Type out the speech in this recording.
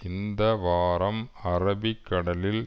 இந்த வாரம் அரபிக் கடலில்